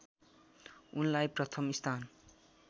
उनलाई प्रथम स्थान